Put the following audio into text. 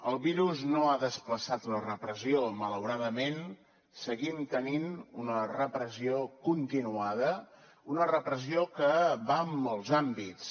el virus no ha desplaçat la repressió malauradament seguim tenint una repressió continuada una repressió que va en molts àmbits